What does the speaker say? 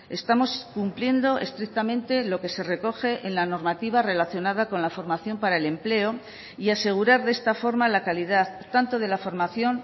estamos cumpliendo estrictamente lo que se recoge en la normativa relacionada con la formación para el empleo y asegurar de esta forma la calidad tanto de la formación